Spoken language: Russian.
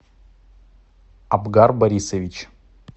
абгар борисович